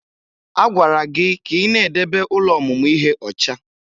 A gwara gị ka ị na-edebe ụlọ ọmụmụ ihe ọcha!